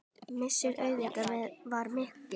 Missir Auðar var mikill.